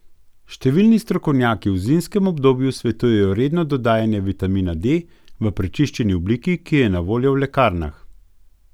Številni strokovnjaki v zimskem obdobju svetujejo redno dodajanje vitamina D v prečiščeni obliki, ki je na voljo v lekarnah.